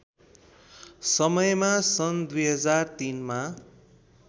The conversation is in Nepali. समयमा सन् २००३ मा